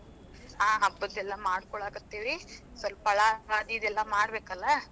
ಹಾ ಹಬ್ಬದ್ ಎಲ್ಲಾ ಮಾಡ್ಕೋಳಾಕತ್ತೀವ್ರಿ, ಸ್ವಲ್ಪ ಫಳಾ ಆದೀದ್ ಎಲ್ಲಾ ಮಾಡಬೇಕಲ್ಲಾ.